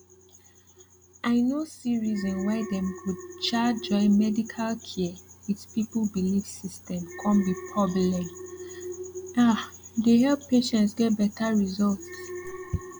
i no see reason why dem go um join medical care with people belief system come be porbleme um dey help patients get better result